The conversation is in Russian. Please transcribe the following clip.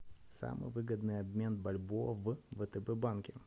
самый выгодный обмен бальбоа в втб банке